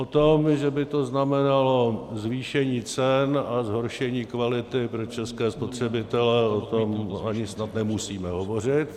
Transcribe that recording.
O tom, že by to znamenalo zvýšení cen a zhoršení kvality pro české spotřebitele, o tom ani snad nemusíme hovořit.